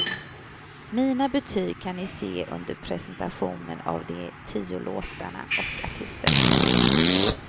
Mina betyg kan ni se under presentationen av de tio låtarna och artisterna.